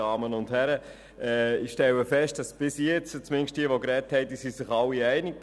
Ich stelle fest, dass sich bis jetzt, zumindest diejenigen, die gesprochen haben, alle einig sind.